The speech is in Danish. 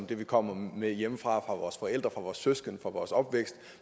det vi kommer med hjemmefra fra vores forældre fra vores søskende fra vores opvækst